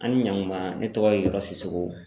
An ni ɲankuma ne tɔgɔ ye yɔrɔ sisogo